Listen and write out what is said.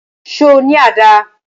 Ṣo ní àdá?